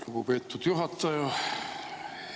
Lugupeetud juhataja!